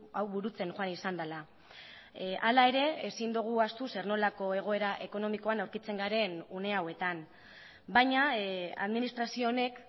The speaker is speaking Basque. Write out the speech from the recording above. hau burutzen joan izan dela hala ere ezin dugu ahaztu zer nolako egoera ekonomikoan aurkitzen garen une hauetan baina administrazio honek